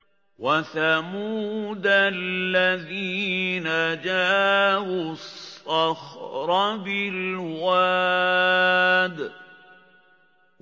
وَثَمُودَ الَّذِينَ جَابُوا الصَّخْرَ بِالْوَادِ